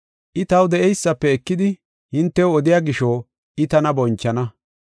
I taw de7eysafe ekidi hintew odiya gisho I tana bonchana.